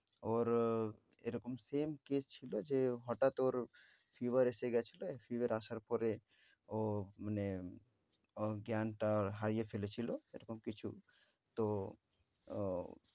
ওর এরকম same case ছিল যে হঠাৎ ওর fever এসে গেছিল। fever আসার পরে ও মানে ওর জ্ঞানটা হারিয়ে ফেলেছিল এরকম কিছু। তো ও